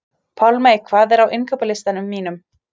Pálmey, hvað er á innkaupalistanum mínum?